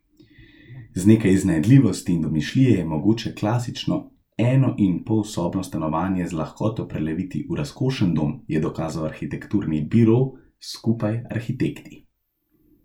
Z nekaj iznajdljivosti in domišljije je mogoče klasično enoinpolsobno stanovanje z lahkoto preleviti v razkošen dom, je dokazal arhitekturni biro Skupaj arhitekti.